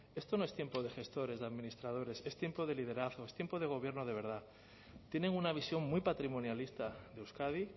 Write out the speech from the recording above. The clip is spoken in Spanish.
esto no es tiempo de gestores de administradores es tiempo de liderazgo es tiempo de gobierno de verdad tienen una visión muy patrimonialista de euskadi